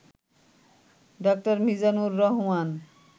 ড. মিজানুর রহমান